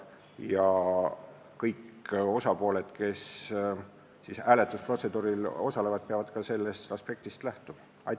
Ja kõik osapooled, kes hääletusprotseduuril osalevad, peavad ka sellest aspektist lähtuma.